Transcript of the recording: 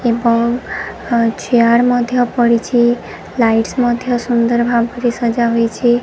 ଏବଂ ଚେୟାର ମଧ୍ୟ ପଡ଼ିଛି। ଲାଇଟସ ମଧ୍ୟ ସୁନ୍ଦର ଭାବରେ ସଜା ହୋଇଛି।